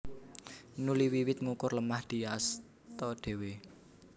Nuli wiwit ngukur lemah diasta dhéwé